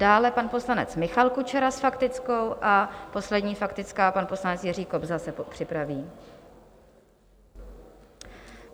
Dále pan poslanec Michal Kučera s faktickou a poslední faktická pan poslanec Jiří Kobza se připraví.